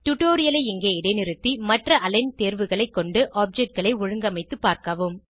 டுடோரியலை இங்கே இடைநிறுத்தி மற்ற அலிக்ன் தேர்வுகளை கொண்டு ஆப்ஜெக்ட் களை ஒழுங்கமைத்து பார்க்கவும்